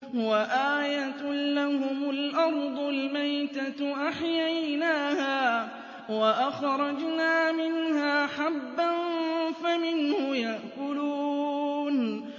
وَآيَةٌ لَّهُمُ الْأَرْضُ الْمَيْتَةُ أَحْيَيْنَاهَا وَأَخْرَجْنَا مِنْهَا حَبًّا فَمِنْهُ يَأْكُلُونَ